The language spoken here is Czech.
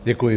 Děkuji.